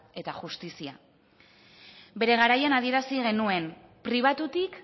eta justizia bere garaian adierazi genuen pribatutik